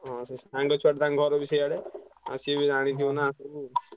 ହଁ ସେ ସାଙ୍ଗ ଛୁଆଟେ ତାଙ୍କ ଘର ବି ସିଆଡେ ଆଉ ସିଏବି ଜାଣିଥିବ ନା ସବୁ।